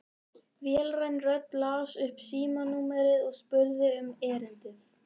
Vélræn rödd las upp símanúmerið og spurði um erindið.